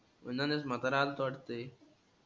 ऊननस नदर आलत वाटते.